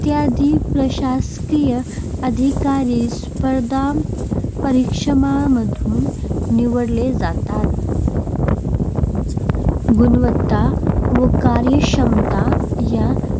इत्यादी प्रशासकीय अधिकारी स्पर्धापरीक्षांमधून निवडले जातात. गुणवत्ता व कार्यक्षमता या